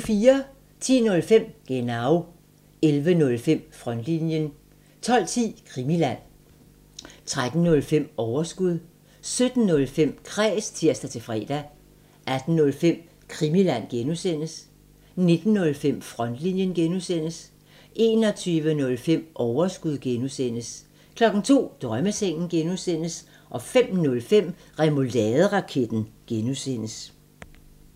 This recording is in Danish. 10:05: Genau 11:05: Frontlinjen 12:10: Krimiland 13:05: Overskud 17:05: Kræs (tir-fre) 18:05: Krimiland (G) 19:05: Frontlinjen (G) 21:05: Overskud (G) 02:00: Drømmesengen (G) 05:05: Remouladeraketten (G)